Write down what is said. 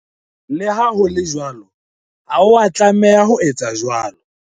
Le ha ho le jwalo, ha o a tlameha ho etsa jwalo.